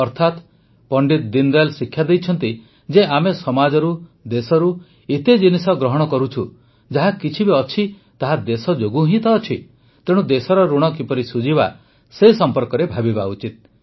ଅର୍ଥାତ ପଣ୍ଡିତ ଦୀନଦୟାଲ ଶିକ୍ଷା ଦେଇଛନ୍ତି ଯେ ଆମେ ସମାଜରୁ ଦେଶରୁ ଏତେ ଜିନିଷ ଗ୍ରହଣ କରନ୍ତି ଯାହା କିଛି ବି ଅଛି ତାହା ଦେଶ ଯୋଗୁଁ ହିଁ ତ ଅଛି ତେଣୁ ଦେଶର ଋଣ କିପରି ଶୁଝିବା ଏ ସମ୍ପର୍କରେ ଭାବିବା ଉଚିତ